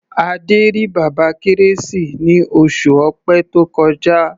Adé rí Bàbá Kérésì ní oṣù Ọ̀pẹ tó kọjá.